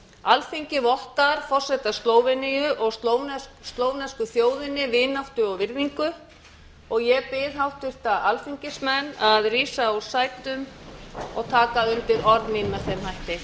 alþingi vottar forseta slóveníu og slóvensku þjóðinni vináttu og virðingu og ég bið háttvirta alþingismenn að rísa úr sætum og taka undir orð mín með þeim hætti